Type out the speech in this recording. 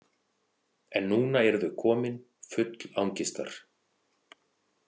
En núna eru þau komin, full angistar.